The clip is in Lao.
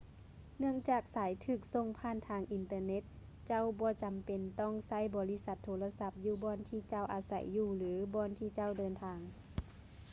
ເນື່ອງຈາກສາຍຖືກສົ່ງຜ່ານທາງອິນເຕີເນັດ ເຈົ້າບໍ່ຈຳເປັນຕ້ອງໃຊ້ບໍລິສັດໂທລະສັບຢູ່ບ່ອນທີ່ເຈົ້າອາໃສຢູ່ ຫຼື ບ່ອນທີ່ເຈົ້າເດີນທາງ